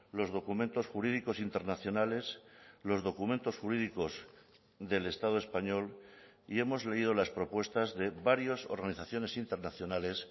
los documentos jurídicos internacionales los documentos jurídicos del estado español y hemos leído las propuestas de varias organizaciones internacionales